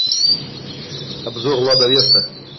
обзор лада веста